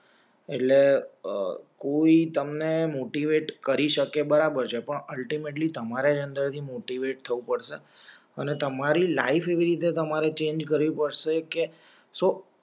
એટલે અ કોઈ તમને મોટિવેટ કરી શકે બરાબર છે પણ અલ્ટીમેટલી અંદર થી મોટીવેટ થવું પડશે અને તમારી લાઇફ રીતે તમારા ચેન્જ કરી પડસે કે સો